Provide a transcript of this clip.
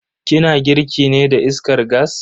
Ki na girki ne da iskar gas?